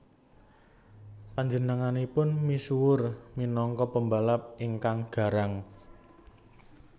Panjenenganipun misuwur minangka pembalap ingkang garang